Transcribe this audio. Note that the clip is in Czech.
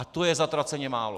A to je zatraceně málo!